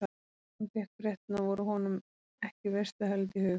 Og eftir að hann fékk fréttirnar voru honum ekki veisluhöld í hug.